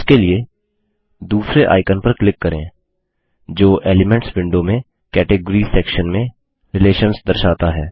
इसके लिए दूसरे आइकन पर क्लिक करें जो एलिमेंट्स विंडो में कैटगॉरिस सेक्शन में रिलेशंस दर्शाता है